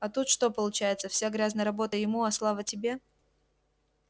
а тут что получается вся грязная работа ему а слава тебе